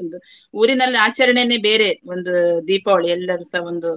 ಒಂದು ಊರಿನಲ್ಲಿ ಆಚರಣೆನೇ ಬೇರೆ ಒಂದು ದೀಪಾವಳಿ ಎಲ್ಲರೂಸ ಒಂದು